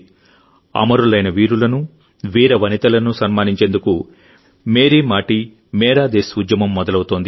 అమరులైన వీరులను వీరాంగనలను సన్మానించేందుకు మేరీ మాటీ మేరా దేశ్ ఉద్యమం మొదలవుతోంది